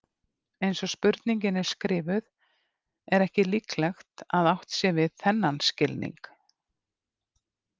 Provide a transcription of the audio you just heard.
Eins og spurningin er skrifuð er ekki líklegt að átt sé við þennan skilning.